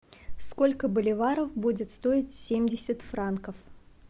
сколько боливаров будет стоить семьдесят франков